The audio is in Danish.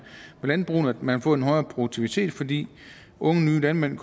landbrugene man vil få en højere produktivitet fordi unge nye landmænd